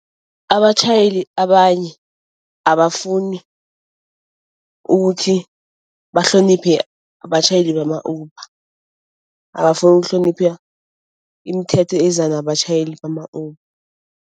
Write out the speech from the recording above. Abatjhayeli abanye abafuni ukuthi bahloniphe abatjhayeli bama-Uber. Abafuni ukuhlonipha imithetho eza nabatjhayeli bama-Uber.